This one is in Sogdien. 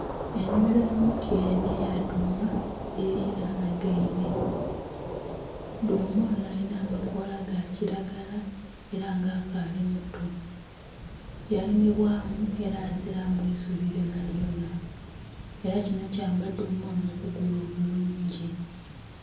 Ennhimiro y'omutyere nh'eya dhuuma dhililanhagainhe, dhuuma onho alinha amakoola ga kilagala era nga akaali muto yalimibwamu era azilamu isubi lyona lyona era kinho kiyamba dhuuma onho okukula obulungi.